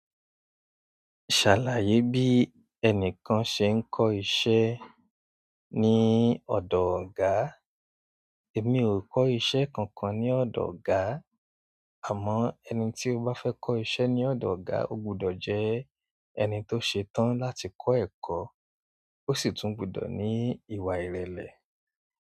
Ṣàlàyé bí ẹnìkan ṣe ń kọ́ iṣẹ́ ní ọ̀dọ̀ ọ̀gá. Èmi ò kọ́ iṣẹ́ kankan ní ọ̀dọ̀ ọ̀gá, àmọ́ ẹni tí ó bá fẹ́ kọ́ iṣẹ́ ní ọ̀dọ̀ ọ̀gá ó gbọdọ̀ jẹ́ ẹni tó ṣe tán láti kọ́ ẹ̀kọ́, ó sì tún gbọdọ̀ ní ìwà ìrẹ̀lẹ̀.